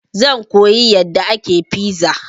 Zan koyi yadda ake fiza.